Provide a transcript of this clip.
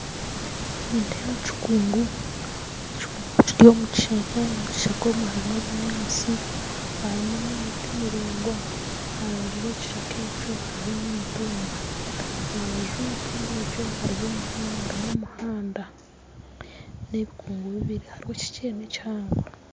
Nindeeba ekikungu kiri omu kishaaka omukishaka omwe harimu ebinyaatsi harimu n'emiti miraingwa aharubaju rwe kishaka ekyo hariho n'emitumba aharubaju rw'emitumba egyo harimu omuhanda n'ebikungu bibiiri hariho ekikye n'ekihango